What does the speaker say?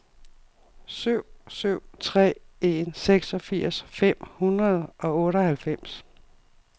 syv syv tre en seksogfirs fem hundrede og otteoghalvfems